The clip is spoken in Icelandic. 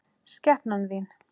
Skepnan þín!